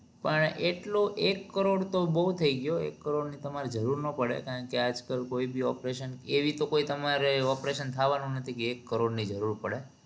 પણ એટલું એક કરોડ તો બહુ થઇ ગયું એક કરોડ ની તમારે જરૂર ના પડે કારણ કે આજ કાલ કોઈ ભી operation એવી તો કોઈ તમારે operation થાવાનું નથી કે એક કરોડ ની જરૂર પડે